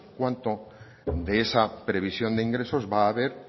cuánto de esa previsión de ingresos va haber